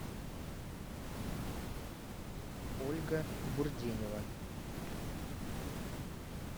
ольга бурденева